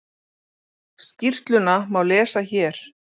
Skýrsluna má lesa hér